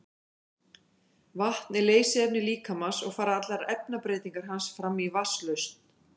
vatn er leysiefni líkamans og fara allar efnabreytingar hans fram í vatnslausn